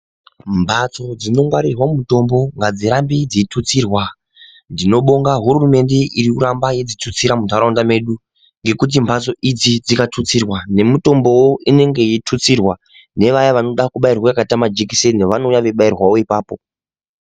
Mbatso dzinongwarirwa mutombo ngadzurambe dzeitutsirwa. Tinobonga hurumende iri kuramba yeidzitutsira muntharaunda medu ngekuti mbatso idzi dzikatutsirwa nemitombowo inenge yeitutsirwa. Nevaya vanoda kubayirwa akaita majekiseni vanouya veibairwawo ipapo.